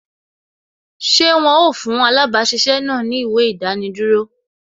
Ṣé wọn ó fún alabasisẹ́ náà ni ìwé idaniduro